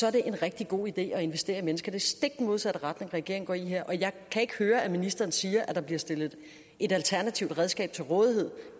er det en rigtig god idé at investere i mennesker det stik modsatte retning regeringen går i her og jeg kan ikke høre at ministeren siger at der bliver stillet et alternativt redskab til rådighed